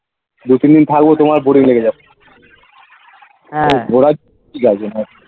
দু তিন দিন থাকবো তোমার boring লেগে যাবে .